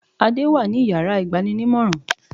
Adé wà ní yàrá ìgbaninímòràn